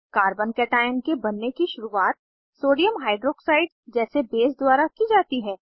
carbon cation के बनने की शुरुआत सोडियम हाइड्रॉक्साइड जैसे बेस द्वारा की जाती है